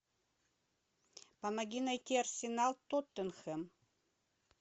помоги найти арсенал тоттенхэм